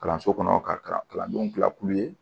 Kalanso kɔnɔ ka kalandenw gila kulu